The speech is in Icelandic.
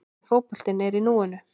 En fótboltinn er í núinu.